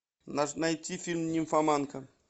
найти фильм нимфоманка